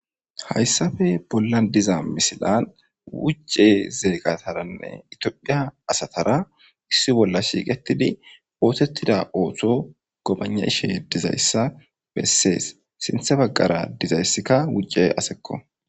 Hayssafe bolla diza misilan wucce zeeqataranne itiophiya asatara issi bolla shiiqetidi bootettida ooththo gobana ishe dizayssa bessees sinthe baggara dizayssikka wucce asekko.